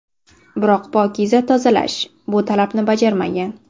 Biroq ‘Pokiza Tozalash’ bu talabni bajarmagan.